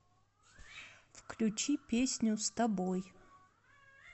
включи песню с тобой